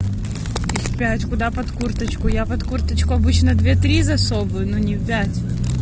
куда под курточку я под курточку обычно две три засовываю но не пять